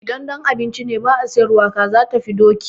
Idan don a ci ne ba a sayar ba, kaza tafi doki.